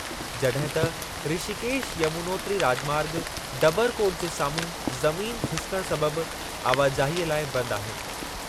जॾहिं त ऋषिकेश यमुनोत्री राॼमार्ग डबरकोट जे साम्हूं ज़मीन खिसिकण सबबि आवाजाहीअ लाइ बंदि आहे।